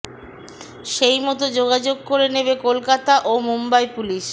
সেই মতো যোগাযোগ করে নেবে কলকাতা ও মুম্বাই পুলিশ